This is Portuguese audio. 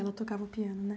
Ela tocava o piano, né?